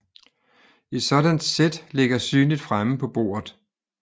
Et sådant sæt ligger synligt fremme på bordet